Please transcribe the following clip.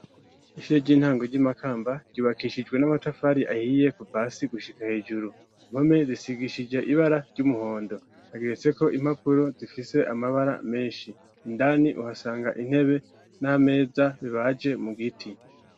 Ishire ry'intango, ry'i Makamba, ryubakishijwe n'amatafari, ahiye, kuva hasi gushika hejuru; impome, zisigishije ibara ry'umuhondo; hageretseko impapuro, zifise amabara menshi; indani, uhasanga intebe n'ameza, bibaje mu giti.